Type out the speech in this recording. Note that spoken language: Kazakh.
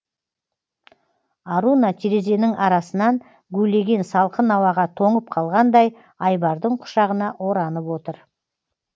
аруна терезенің арасынан гулеген салқын ауаға тоңып қалғандай айбардың құшағына оранып отыр